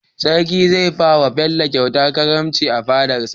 sarki zai bawa bello kyauta karamci a fadarsa